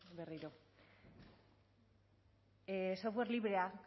berriro software librea